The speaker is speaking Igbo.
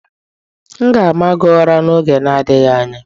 M ga-ama gị ụra n'oge adịghị anya